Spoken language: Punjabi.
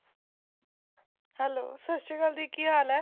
hello ਸਤਿ ਸ਼੍ਰੀ ਅਕਾਲ ਦੀਦੀ ਕੀ ਹਾਲ ਏ